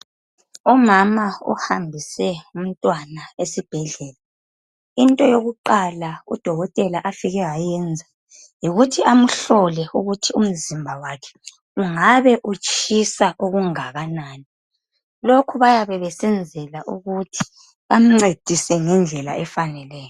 Umama uhambise umntwana esibhedlela. Into yokuqala, udokotela afike wayenza, yikuthi amhlole ukuthi umzimba wakhe ungabe utshisa okungakanani. Lokhu bayabe besenzela ukuthi, bamncedise ngendlela efaneleyo